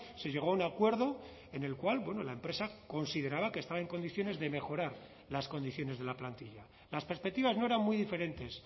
se llegó a un acuerdo en el cual la empresa consideraba que estaba en condiciones de mejorar las condiciones de la plantilla las perspectivas no eran muy diferentes